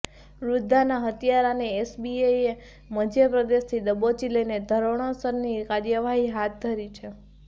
વૃધ્ધાના હત્યારાને એલસીબીએ મધ્યપ્રદેશથી દબોચી લઈને ધોરણસરની કાર્યવાહી હાથ ધરી છે